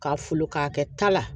K'a folo k'a kɛ ta la